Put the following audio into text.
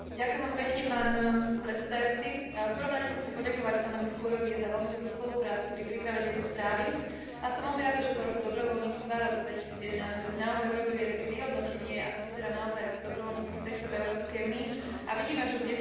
V prvom rade sa chcem poďakovať pánovi Scurriovi za veľmi dobrú spoluprácu pri príprave tejto správy a som veľmi rada, že po Roku dobrovoľníctva, roku 2011, sme si naozaj urobili aj také vyhodnotenie, ako vyzerá naozaj dobrovoľnícky sektor v Európskej únii, a vidíme, že kde sú jeho nedostatky a kde by sa to dalo zlepšiť.